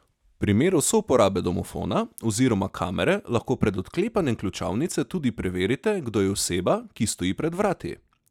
V primeru souporabe domofona oziroma kamere lahko pred odklepanjem ključavnice tudi preverite, kdo je oseba, ki stoji pred vrati.